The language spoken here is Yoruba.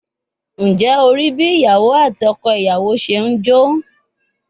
Njẹ o rii bi iyawo ati ọkọ iyawo ṣe n jo?